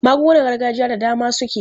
Magungunar gargajiya da dama suke.